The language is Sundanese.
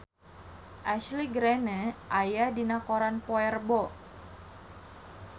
Ashley Greene aya dina koran poe Rebo